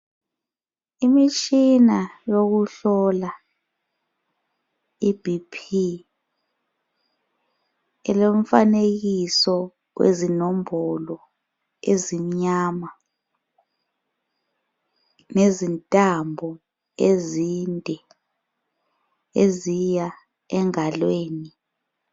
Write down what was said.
Imitshina yokuhlola iB.P ilomfanekiso wezinombolo ezimnyama lezintambo ezinde eziya engalweni.